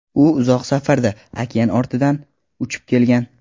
U uzoq safarda, okean ortidan uchib kelgan.